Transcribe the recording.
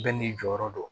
Bɛɛ n'i jɔyɔrɔ do